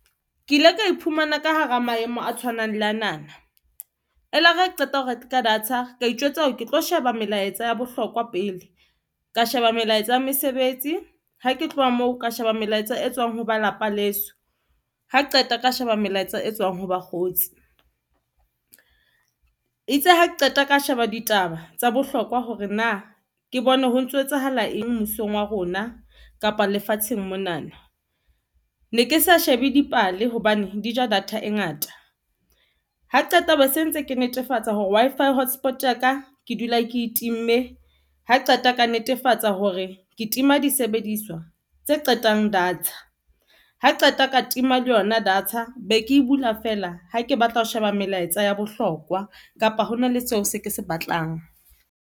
Ke ile ka iphumana ka hara maemo a tshwanang le anana. E lare ha qeta ho reka data, ka itjwetsa hore ke tlo sheba melaetsa ya bohlokwa pele, ka sheba melaetsa ya mesebetsi. Ha ke tloha moo ka sheba melaetsa e tswang ho ba lapa leso, ha qeta o ka sheba melaetsa e tswang ho bakgotsi. Itse ha ke qeta ka sheba ditaba tsa bohlokwa hore na ke bone ho ntso ho etsahala eng mmusong wa rona kapa lefatsheng. Monana ne ke sa shebe dipale hobane di ja data e ngata. Ha qeta o be se ntse ke netefatsa hore Wi-Fi hotspot ya ka, Ke dula ke time ha qeta ka netefatsa hore ke tima disebediswa tse qetang data ha qeta ka tima le yona data be ke bula feela ha ke batla ho sheba melaetsa ya bohlokwa, kapa hona le seo se ke se batlang.